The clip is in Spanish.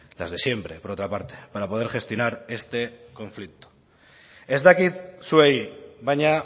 las de siempre por otra parte para poder gestionar este conflicto ez dakit zuei baina